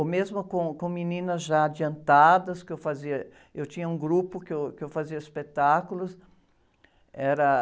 ou mesmo com, com meninas já adiantadas, que eu fazia... Eu tinha um grupo que eu, que eu fazia espetáculos.